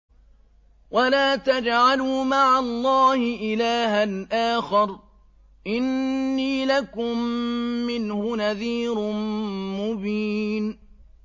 وَلَا تَجْعَلُوا مَعَ اللَّهِ إِلَٰهًا آخَرَ ۖ إِنِّي لَكُم مِّنْهُ نَذِيرٌ مُّبِينٌ